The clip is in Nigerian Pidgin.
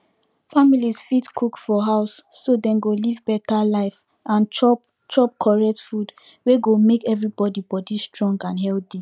families fit cook for house so dem go live better life and chop chop correct food wey go make everybody body strong and healthy